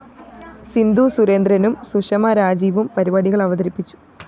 സിന്ധു സുരേന്ദ്രനും സുഷമ രാജീവും പരിപാടികള്‍ അവതരിപ്പിച്ചു